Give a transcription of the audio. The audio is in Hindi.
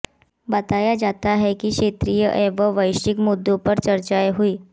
बताया जाता है कि क्षेत्रीय एवं वैश्विक मुद्दों पर चर्चाएं हुईं